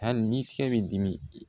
Hali ni cɛ b'i dimi i